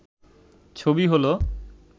ছবি হল